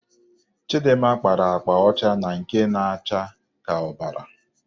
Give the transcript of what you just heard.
Chịdịmma kpara akpa ọcha na nke na-acha ka ọbara.